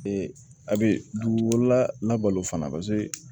a bɛ dugukololabalo fana paseke